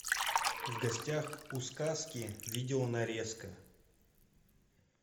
в гостях у сказки видеонарезка